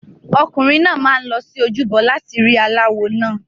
Ọkùnrin náà máa ń lọ sí ojúbọ láti rí aláwo náà.